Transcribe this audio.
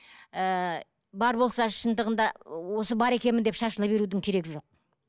ііі бар болса шындығында осы бар екенмін деп шашыла берудің керегі жоқ